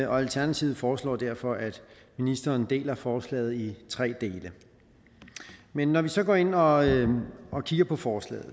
alternativet foreslår derfor at ministeren deler forslaget i tre dele men når vi så går ind og og kigger på forslaget